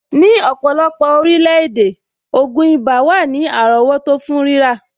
Ní ọ̀pọ̀lọpọ̀ orílẹ̀-èdè, ògùn ibà wà ní àrọ́wọ́tó fún rírà.